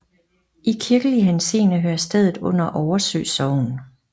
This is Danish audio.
I kirkelig henseende hører stedet under Oversø Sogn